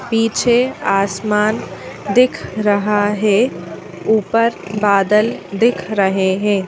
पीछे आसमान दिख रहा है ऊपर बादल दिख रहे हैं।